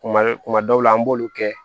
Kuma kuma dɔw la an b'olu kɛ